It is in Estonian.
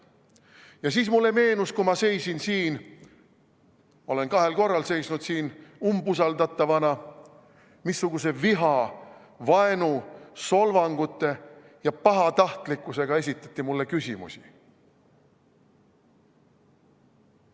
Ja siis mulle meenus, kui ma seisin siin – olen kahel korral seisnud siin umbusaldatavana –, missuguse viha, vaenu, solvangute ja pahatahtlikkusega esitati mulle küsimusi.